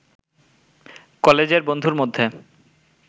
কলেজের বন্ধুর মধ্যে